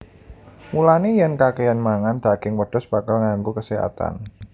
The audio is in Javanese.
Mulané yèn kakèyan mangan daging wedhus bakal nganggu kaséhatan